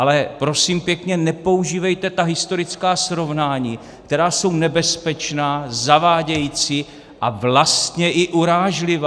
Ale prosím pěkně, nepoužívejte ta historická srovnání, která jsou nebezpečná, zavádějící a vlastně i urážlivá!